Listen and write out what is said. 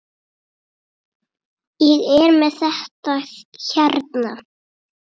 Ég er með þetta hérna.